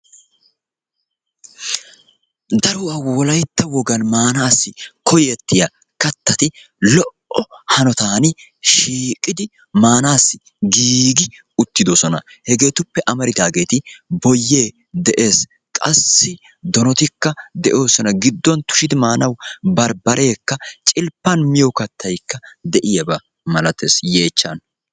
Daruwa wolaytta wogan maanassi koyetiya kattati lo"o hanotan shiiqidi maanassi giigi uttidoosona. Hegetuppe amaaridaageeti boyye de'ees. Qassi donotikka de'oosona. Gidduwan tushshidi maanawu barbbarekka, cilppan miyo kattaykka de'iyaaba malatees yeechchan.